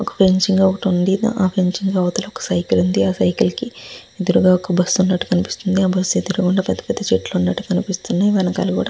వక ఫ్రాచింగ్ ఉనది. హా ఫన్చిగ్ వెనకాల మనకు వక సైకిల్ ఉనాడు. అదురుగా వక బస్సు ఉనది. హ బస్సు అదురుగా మనకు పేద పేద చెట్లు ముద కనిపెస్త్గునది.